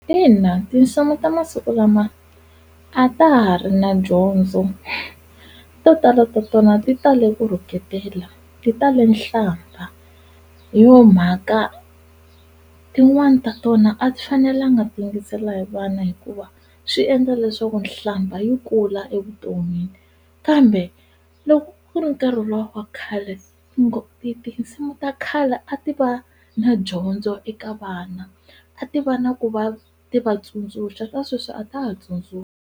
Ina tinsimu ta masiku lama a ta ha ri na dyondzo to tala ta tona ti tale ku rhuketela ti tale nhlamba hi yo mhaka tin'wani ta tona a ti fanelanga ti yingisela hi vana hikuva swi endla leswaku nhlamba yi kula evuton'wini kambe loko ku ri nkarhi luwa wa khale ti tinsimu ta khale a ti va na dyondzo eka vana a ti va na ku va ti va tsundzuxa ta sweswi a ta ha tsundzuxi.